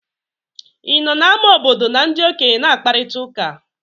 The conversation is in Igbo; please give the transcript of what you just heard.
Ị nọ n'ámá obodo na ndị okenye na-akparịta ụka?